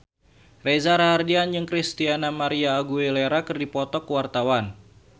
Reza Rahardian jeung Christina María Aguilera keur dipoto ku wartawan